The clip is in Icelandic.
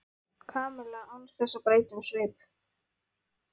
Kamilla án þess að breyta um svip.